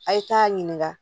A' ye taa ɲininka